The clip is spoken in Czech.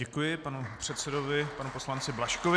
Děkuji panu předsedovi panu poslanci Blažkovi.